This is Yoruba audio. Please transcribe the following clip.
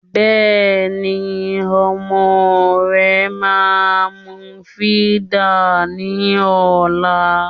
Bẹ́ẹ̀ ni ọmọ rẹ máa mu fídà ní ọ̀la